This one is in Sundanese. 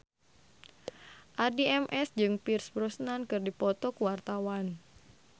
Addie MS jeung Pierce Brosnan keur dipoto ku wartawan